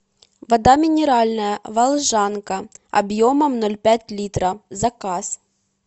вода минеральная волжанка объемом ноль пять литра заказ